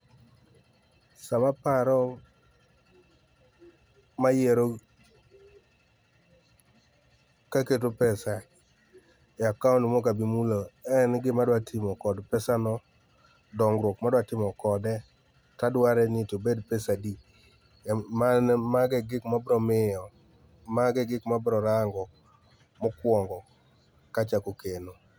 sama paro mayiero kaketo pesa e akaunt mok abi mulo e en gima dwa timo kod pesano ,dongruok madwa timo kode to adware ni obed pesadi. Mano mago egik mabro ng'iyo mago e gik mabro rango mokwongo kachako keno.